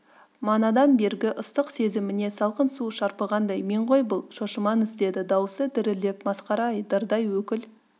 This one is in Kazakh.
манадан бергі ыстық сезіміне салқын су шарпығандай мен ғой бұл шошымаңыз деді дауысы дірілдеп масқара-ай дырдай өкіл